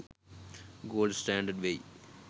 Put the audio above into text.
gold standard whey